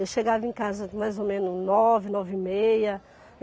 Eu chegava em casa mais ou menos nove, nove e meia.